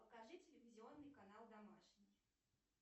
покажи телевизионный канал домашний